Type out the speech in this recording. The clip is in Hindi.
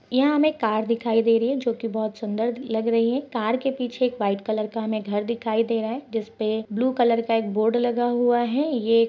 यहाँ हमें कार दिखाई दे रही है जो की बहुत सुंदर लग रही है कार के पीछे एक वाइट कलर का हमें घर दिखाई दे रहा है जिसपे ब्लू कलर का एक बोर्ड लगा हुआ है ये --